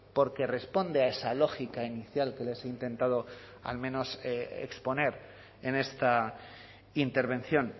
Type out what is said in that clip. porque responde a esa lógica inicial que les he intentado al menos exponer en esta intervención